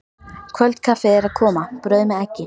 Kvöldkaffið er að koma, brauð með eggi.